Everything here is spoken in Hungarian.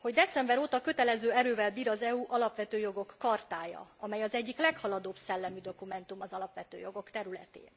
hogy december óta kötelező erővel bír az EU alapvető jogok chartája, amely az egyik leghaladóbb szellemű dokumentum az alapvető jogok területén.